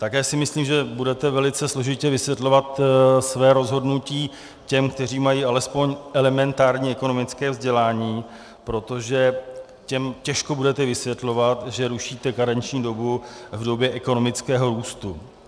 Také si myslím, že budete velice složitě vysvětlovat své rozhodnutí těm, kteří mají alespoň elementární ekonomické vzdělání, protože těm těžko budete vysvětlovat, že rušíte karenční dobu v době ekonomického růstu.